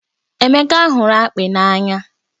Emeka hụrụ akpị n'anya